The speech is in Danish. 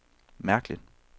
mærkeligt